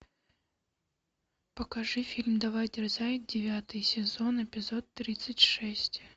покажи фильм давай дерзай девятый сезон эпизод тридцать шесть